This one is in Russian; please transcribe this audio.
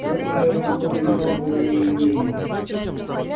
вы правильно поняли суть моей идеи